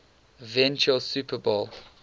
eventual super bowl